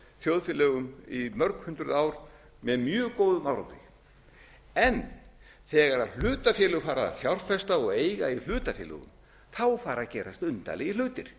þjóðfélögum í mörg hundruð ár með mjög góðum árangri þegar hlutafélög fara að fjárfesta og eiga í hlutafélögum fara að gerast undarlegir hlutir